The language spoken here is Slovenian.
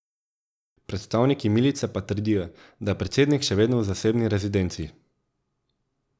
Predstavniki milice pa trdijo, da je predsednik še vedno v zasebni rezidenci.